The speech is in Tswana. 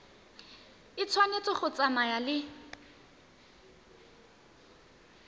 e tshwanetse go tsamaya le